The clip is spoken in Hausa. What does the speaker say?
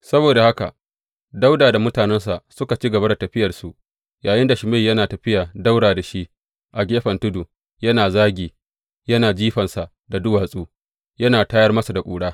Saboda haka Dawuda da mutanensa suka ci gaba da tafiyarsu yayinda Shimeyi yana tafiya ɗaura da shi a gefen tudu, yana zagi, yana jifansa da duwatsu, yana tayar masa da ƙura.